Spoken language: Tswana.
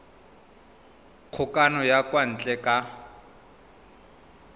kgokagano ya kwa ntle ka